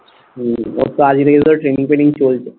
training ফেনিং চলতো